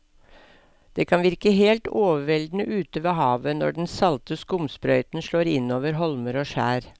Det kan virke helt overveldende ute ved havet når den salte skumsprøyten slår innover holmer og skjær.